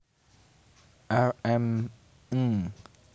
R M Ng